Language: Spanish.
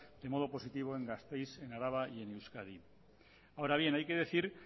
de modo positivo en gasteiz araba y en euskadi ahora bien hay que decir